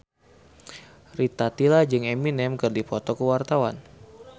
Rita Tila jeung Eminem keur dipoto ku wartawan